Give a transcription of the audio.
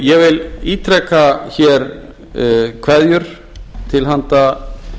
ég vil ítreka hér kveðjur til handa